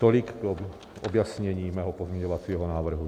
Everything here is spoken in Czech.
Tolik k objasnění mého pozměňovacího návrhu.